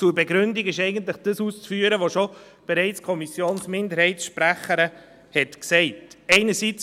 Zur Begründung ist eigentlich das auszuführen, was die Kommissionsminderheitssprecherin bereits gesagt hat.